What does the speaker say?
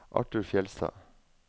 Arthur Fjellstad